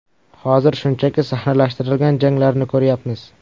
Hozir shunchaki sahnalashtirilgan janglarni ko‘ryapmiz.